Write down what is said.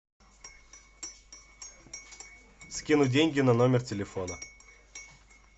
скинуть деньги на номер телефона